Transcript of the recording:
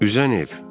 Üzən ev.